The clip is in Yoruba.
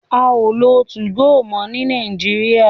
A o lo tu-go mo ni Nàìjíríà